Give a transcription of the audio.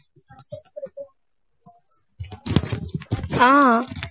ஆஹ்